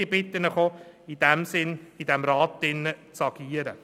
Ich bitte Sie, im Rat in diesem Sinne zu agieren.